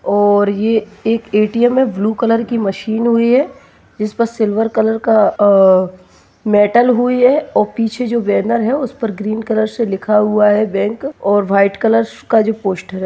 और ये ए_टी_एम हैं ब्लु कलर की मशीन हुई हैंजिसपे सिल्वर कलर का मेटल हुई हैं और जो पीछे जो वर्नर हैं उसपे ग्रीन कलर से लिखा हुआ हैँ बैंक और व्हाइट कलर का जो पोस्टर हैं ---